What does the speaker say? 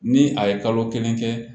Ni a ye kalo kelen kɛ